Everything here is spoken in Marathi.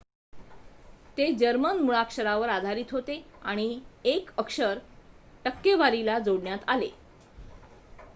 "ते जर्मन मुळाक्षरावर आधारित होते आणि 1 अक्षर "õ/õ" जोडण्यात आले.